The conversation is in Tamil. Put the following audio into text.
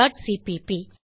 dot CPP